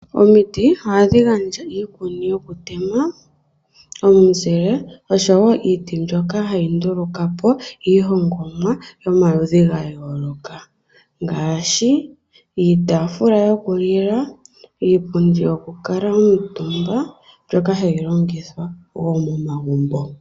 Omiti ohadhi gandja iikuni yokutema, omuzile osho wo iiti mbyoka hayi nduluka po iihongomwa yomaludhi gayooloka ngaashi iitafula yokulila, iipundi yokukala omutumba mbyoka hayi longithwa wo momagumbo.